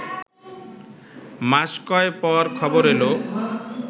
মাস কয় পর খবর এল